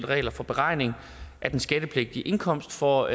regler for beregning af den skattepligtige indkomst for